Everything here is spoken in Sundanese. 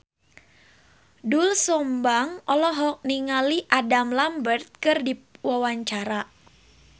Doel Sumbang olohok ningali Adam Lambert keur diwawancara